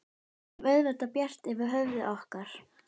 Við höfum auðvitað bjart yfir höfði okkar.